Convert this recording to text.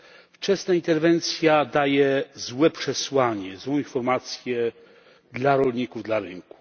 Wczesna interwencja daje złe przesłanie, złą informację dla rolników, dla rynku.